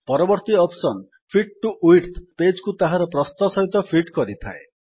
ପରବର୍ତ୍ତୀ option fit to width page କୁ ତାହାର ପ୍ରସ୍ଥ ସହିତ ଫିଟ୍ କରିଥାଏ